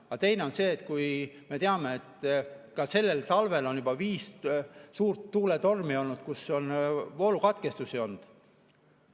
Aga teine on see, et me ju teame, et ka sellel talvel on juba viis suurt tuuletormi olnud, kus on voolukatkestusi olnud.